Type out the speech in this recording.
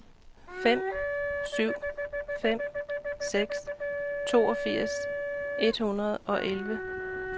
fem syv fem seks toogfirs et hundrede og elleve